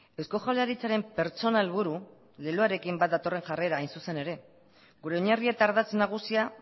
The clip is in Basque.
eusko jaurlaritzaren pertsona helburu leloarekin bat datorren jarrera hain zuzen ere gure oinarri eta ardatz nagusia